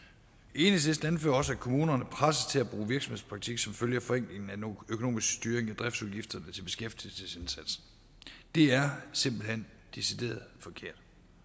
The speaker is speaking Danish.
enhedslisten anfører også at kommunerne presses til at virksomhedspraktik som følge af forenklingen af den økonomiske styring af driftsudgifterne til beskæftigelsesindsatsen det er simpelt hen decideret forkert